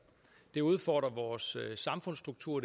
det udfordrer vores samfundsstruktur